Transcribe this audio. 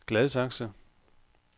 Gladsaxe